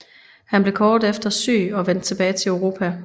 Han blev kort efter syg og vendte tilbage til Europa